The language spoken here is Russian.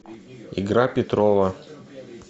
игра петрова